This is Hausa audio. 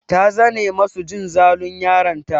Ta zane masu jin zalun yaron ta.